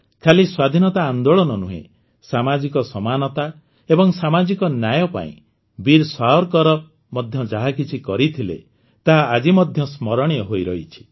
ଖାଲି ସ୍ୱାଧିନତା ଆନ୍ଦୋଳନ ନୁହେଁ ସାମାଜିକ ସମାନତା ଏବଂ ସାମାଜିକ ନ୍ୟାୟ ପାଇଁ ମଧ୍ୟ ବୀର ସାୱରକର ଯାହାକିଛି କରିଥିଲେ ତାହା ଆଜି ମଧ୍ୟ ସ୍ମରଣୀୟ ହୋଇରହିଛି